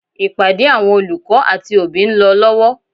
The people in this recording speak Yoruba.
Ìpàdé àwọn olùkọ́ àti òbí ń lọ lọ́wọ́.